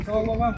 Sağ ol, bala.